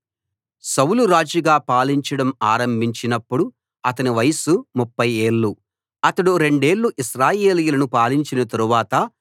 సౌలు రాజుగా పాలించడం ఆరంభించినపుడు అతని వయస్సు ముప్ఫై ఏళ్ళు అతడు రెండేళ్ళు ఇశ్రాయేలీయులను పాలించిన తరువాత